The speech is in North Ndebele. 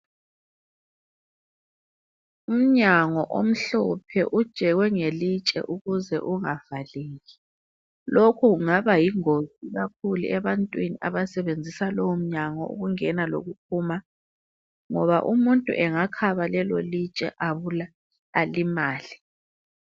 Umnyango omhlophe ujekwe ngelitshe ukuze ungavaleki. Lokhu kungaba yingozi ikakhulu ebantwini abasebenzisa lowomnyango ukungena lokuphuma ngoba umuntu angakhaba lelolitshe alimale.